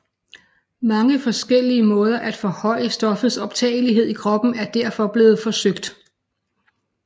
Mange forskellige måder at forhøje stoffets optagelighed i kroppen er derfor blevet forsøgt